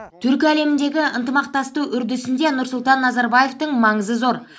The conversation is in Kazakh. түркі әлеміндегі ынтымақтасу үрдісінде нұрсұлтан назарбаевтың маңызы зор